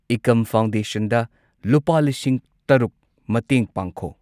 Ekam foundation ꯗ ꯂꯨꯄꯥ ꯂꯤꯁꯤꯡ ꯇꯔꯨꯛ ꯃꯇꯦꯡ ꯄꯥꯡꯈꯣ꯫